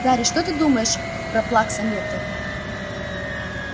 гарри ты что думаешь про плакса миртл